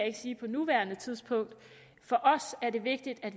ikke sige på nuværende tidspunkt for os er det vigtigt at